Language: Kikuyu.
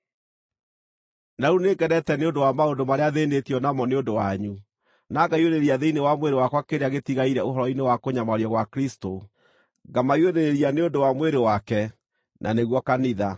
Na rĩu nĩngenete nĩ ũndũ wa maũndũ marĩa thĩĩnĩtio namo nĩ ũndũ wanyu, na ngaiyũrĩrĩria thĩinĩ wa mwĩrĩ wakwa kĩrĩa gĩtigaire ũhoro-inĩ wa kũnyamario gwa Kristũ, ngamaiyũrĩrĩria nĩ ũndũ wa mwĩrĩ wake, na nĩguo kanitha.